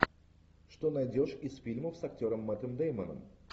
что найдешь из фильмов с актером мэттом дэймоном